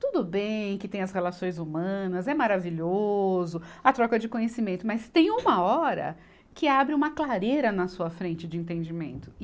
Tudo bem que tem as relações humanas, é maravilhoso a troca de conhecimento, mas tem uma hora que abre uma clareira na sua frente de entendimento.